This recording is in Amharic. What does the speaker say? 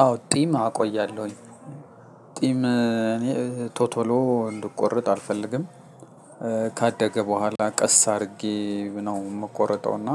አዎ ጢም አቆያለሁኝ። ጢም እኔ ቶቶሎ እንድቆረጥ አልፈልግም። ካደገ በኋላ ቀስ አድርጌ ነው የምቆርጠው እና።